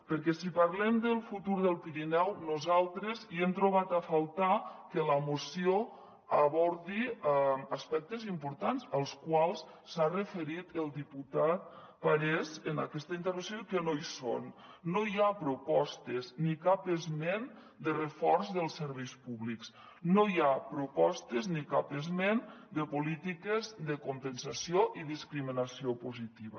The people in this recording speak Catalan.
perquè si parlem del futur del pirineu nosaltres hem trobat a faltar que la moció abordi aspectes importants als quals s’ha referit el diputat parés en aquesta intervenció i que no hi són no hi ha propostes ni cap esment de reforç dels serveis públics no hi ha propostes ni cap esment de polítiques de compensació i discriminació positiva